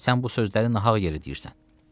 Sən bu sözləri nahaq yerə deyirsən.